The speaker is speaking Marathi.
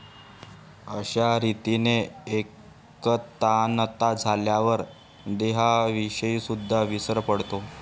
अश्या रीतीने एकतानता झाल्यावर देहाविषयीसुद्दा विसर पडतो